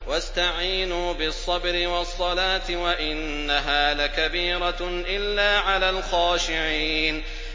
وَاسْتَعِينُوا بِالصَّبْرِ وَالصَّلَاةِ ۚ وَإِنَّهَا لَكَبِيرَةٌ إِلَّا عَلَى الْخَاشِعِينَ